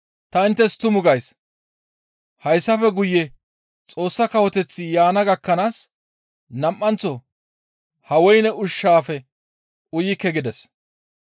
«Ta inttes tumu gays; hayssafe guye Xoossa Kawoteththi yaana gakkanaas nam7anththo ha woyne ushshaafe uyikke» gides.